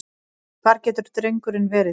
Hvar getur drengurinn verið?